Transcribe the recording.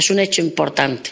Es un hecho importante.